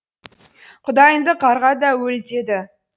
құдайыңды қарға да өл деді